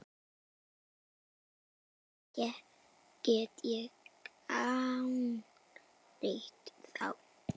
Hvernig get ég gagnrýnt þá?